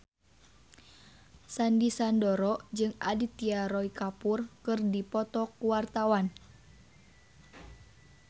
Sandy Sandoro jeung Aditya Roy Kapoor keur dipoto ku wartawan